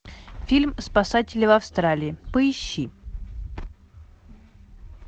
фильм спасатели в австралии поищи